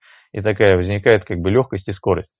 и такая возникает как бы лёгкость и скорость